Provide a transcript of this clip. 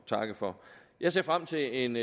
takke for jeg ser frem til en